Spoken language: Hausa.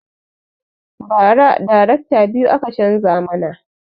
Ba ra darekta biyu aka canza mana